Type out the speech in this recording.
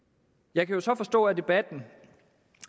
jeg kan så forstå af debatten